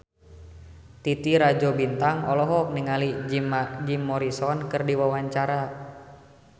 Titi Rajo Bintang olohok ningali Jim Morrison keur diwawancara